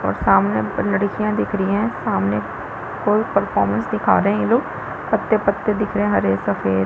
और सामने लड़कियाँ दिख रही है सामने कोई परफॉरमेंस दिखा रहै है ये लोग पत्ते-पत्ते दिख रहै हरे सफ़ेद --